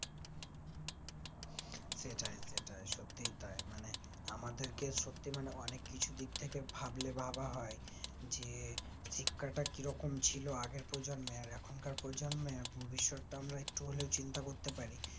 সত্যি তাই মানে আমাদেরকে সত্যি মানে অনিক কিছু দিক থেকে ভাবলে ভাবা হয় যে শিক্ষাটা কিরকম ছিল আগের প্রজন্মে আর এখনকার প্রজন্মে ভবিষৎটাও একটু হলে চিন্তা করতেপারি